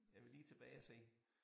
Jeg vil lige tilbage og se